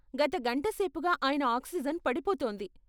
గత గంటసేపుగా ఆయన ఆక్సిజెన్ పడిపోతోంది.